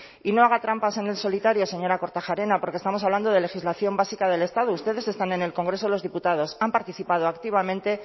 y no haga trampas en el solitario señora kortajarena porque estamos hablando de legislación básica del estado ustedes están en el congreso de los diputados han participado activamente